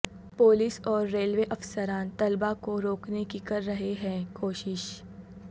police اور railway افسران طلبا کو روکنے کی کر رہے ہیں کوشش